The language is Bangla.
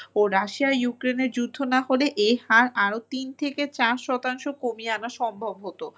ও রাশিয়া ইউক্রেনের যুদ্ধ না হলে এই হার আরো তিন থেকে চার শতাংশ কমিয়ে আনা সম্ভব হত।